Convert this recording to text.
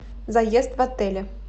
заезд в отеле